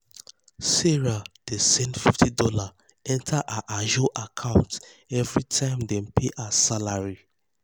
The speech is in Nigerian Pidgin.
sarah dey send fifty dollarsenter her ajo account every time dem pay her salary.